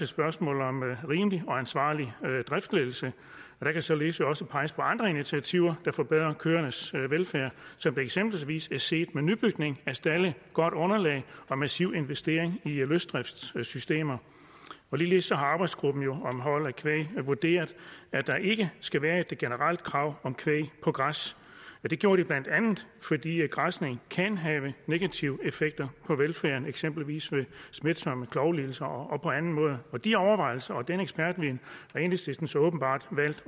spørgsmål om rimelig og ansvarlig driftsledelse og der kan således også peges på andre initiativer der forbedrer køernes velfærd som det eksempelvis er set med nybygning af stalde godt underlag og massiv investering i løsdriftssystemer ligeledes har arbejdsgruppen om hold af kvæg vurderet at der ikke skal være et generelt krav om kvæg på græs det gjorde de bla fordi græsning kan have negative effekter på velfærden eksempelvis ved smitsomme klovlidelser og på anden måde de overvejelser og den ekspertviden har enhedslisten så åbenbart valgt